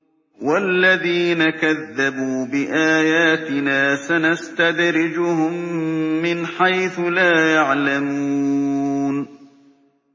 وَالَّذِينَ كَذَّبُوا بِآيَاتِنَا سَنَسْتَدْرِجُهُم مِّنْ حَيْثُ لَا يَعْلَمُونَ